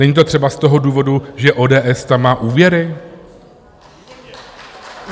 Není to třeba z toho důvodu, že ODS tam má úvěry?